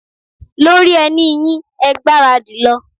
Lóri ẹní yín, ẹ gbára dì, lọ.